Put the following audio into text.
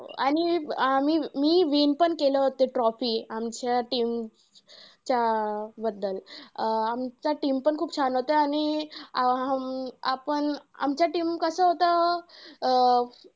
आणि आम्ही मी win पण केलं होतं trophy. आमच्या team च्या बद्दल. अं आमचा team पण खूप छान होतं आणि आपण आमचं team कसं होतं अं